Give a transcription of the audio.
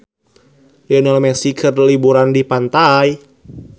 Lionel Messi keur liburan di pantai